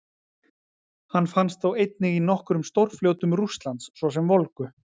Hann finnst þó einnig í nokkrum stórfljótum Rússlands, svo sem Volgu.